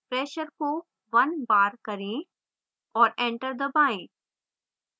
pressure को 1 bar करें और enter दबाएँ